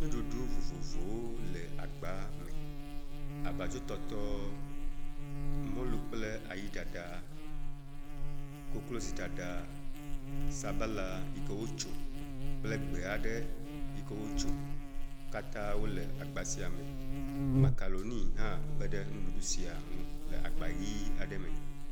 Nuɖuɖu vovovovowo le agba me. Abladzotɔtɔ, mɔlu kple ayi ɖaɖa, koklozi ɖaɖa sabala yi ke wotso kple gbe aɖe yi ke wotso, wo katã le agba sia me. Makaroni hã kpe ɖe nuɖuɖu si ŋu le agba ʋi aɖe me.